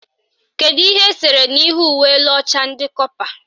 Kedu ihe esere n'ihu uwe elu ọcha ndị kọpa?